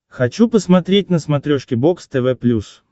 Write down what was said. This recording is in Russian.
хочу посмотреть на смотрешке бокс тв плюс